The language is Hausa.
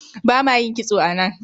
bama yin kitso a nan